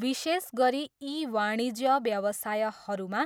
विशेष गरी ई वाणिज्य व्यवसायहरूमा